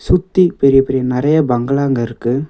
சுத்தி பெரிய பெரிய நெறைய பங்களாங்க இருக்கு.